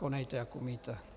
Konejte, jak umíte.